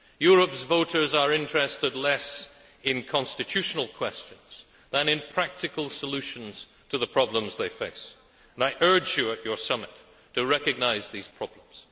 Europe's voters are interested less in constitutional questions than in practical solutions to the problems they face, and I urge you at your summit to recognise these problems.